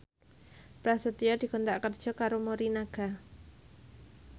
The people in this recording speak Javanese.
Prasetyo dikontrak kerja karo Morinaga